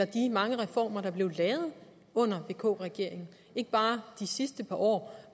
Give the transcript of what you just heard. de mange reformer der blev lavet under vk regeringen ikke bare de sidste par år